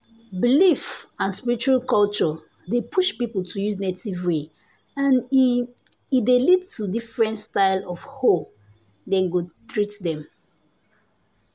belief and spiritual culture dey push people to use native way and e e dey lead to different style of hoe dem go treat dem.